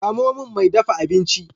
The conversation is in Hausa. Samo min mai dafa abinci.